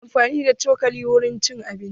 Ana amfani da cokali wurin cin abinci.